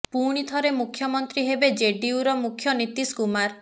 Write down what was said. ପୁଣି ଥରେ ମୁଖ୍ୟମନ୍ତ୍ରୀ ହେବେ ଜେଡିୟୁ ମୁଖ୍ୟ ନୀତିଶ କୁମାର